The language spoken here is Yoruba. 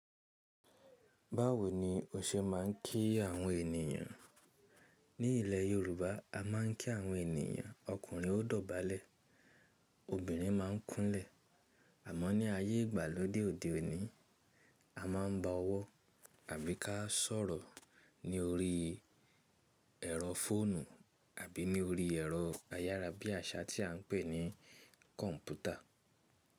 Báwo ni o ṣe máa ń kí àwọn ènìyàn? Ní ilẹ̀ Yorùbá a máa ń kí àwọn ènìyàn ọkùnrin o dọ̀bálẹ̀ obìnrin máa ń kúnlẹ̀ àmọ́ ní ayé ìgbàlódé òde òní a máa ń ba ọwọ́ àbí ká sọ̀rọ̀ ní orí ẹ̀rọ fóònù àbí ní orí ẹ̀rọ ayára bí àsá tí a ń pè ní kọ̀m̀pútà.